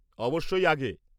অবশ্যই আগে।